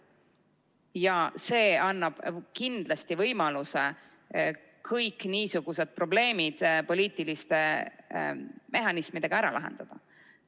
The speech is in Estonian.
Ja see annab kindlasti võimaluse kõik niisugused probleemid poliitiliste mehhanismidega ära lahendada.